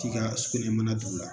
k'i ka sugunɛbara la